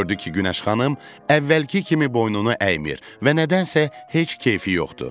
Gördü ki, Günəş xanım əvvəlki kimi boynunu əymir və nədənsə heç keyfi yoxdur.